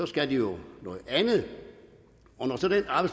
skal de jo noget andet